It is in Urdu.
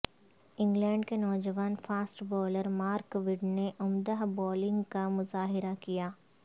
انگلینڈ کے نوجوان فاسٹ بولر مارک وڈ نے عمدہ بولنگ کا مظاہرہ کیا